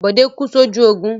Bódé kú sójú ogun.